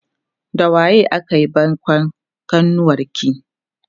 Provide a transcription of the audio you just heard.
da waye akayi baikon kanuwarki?